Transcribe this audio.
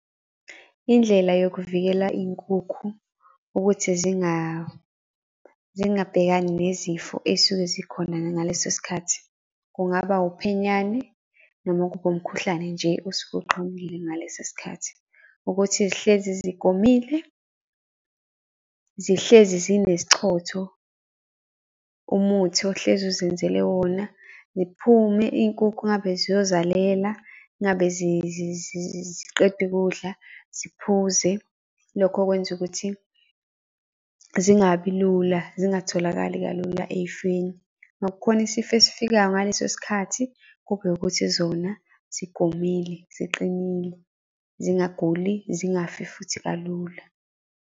Indlela yokuvikela iy'nkukhu ukuthi zingabhekani nezifo ey'suke zikhona nangaleso sikhathi, kungaba uphenyane noma kube umkhuhlane nje osuke uqubukile ngaleso sikhathi. Ukuthi zihlezi zigomile, zihlezi zinesichotho, umuthi ohlezi uzenzele wona. Ziphume iy'nkukhu engabe ziyozalela, ingabe ziqeda ukudla, ziphuze. Lokho kwenza ukuthi zingabi lula zingatholakali kalula ey'feni. Uma kukhona isifo esifikayo ngaleso sikhathi, kube ukuthi zona zigomile, ziqinile, zingaguli, zingafi futhi kalula.